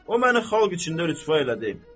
O məni xalq içində rüsvay elədi.